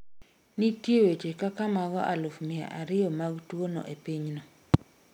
nitie weche kaka mago aluf mia ariyo mag tuwono e pinyno